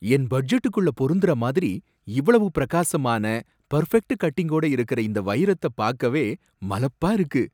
என் பட்ஜெட்டுக்குள்ள போருந்தரமாதிரி இவ்வளவு பிரகாசமான, பெர்ஃபெக்ட் கட்டிங்கோட இருக்கற இந்த வைரத்த பாக்கவே மலப்பா இருக்கு.